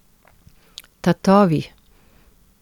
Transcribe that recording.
Tatovi?